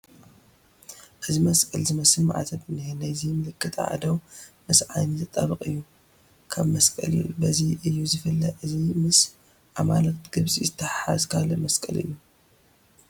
እዚ መስቀል ዝመስል ማዕተብ እኒሀ፡፡ ናይዚ ምልክት ኣእዳው ምስ ዓይኑ ዝጠበቐ እዩ፡፡ ካብ መስቀል በዚ እዩ ዝፍለ፡፡ እዚ ምስ ኣማልክተ ግብፅ ዝተተሓሓዘ ካልእ ምልክት እዩ፡፡